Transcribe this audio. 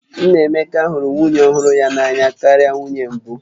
Nna Emeka hụrụ nwunye ọhụrụ ya n'anya karịa nwunye mbụ